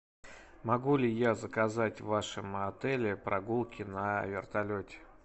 могу ли я заказать в вашем отеле прогулки на вертолете